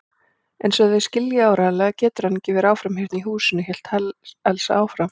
Einsog þið skiljið áreiðanlega getur hann ekki verið áfram hérna í húsinu hélt Elsa áfram.